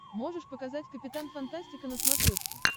можешь показать капитан фантастика на смотрешке